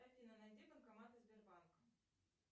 афина найди банкоматы сбербанка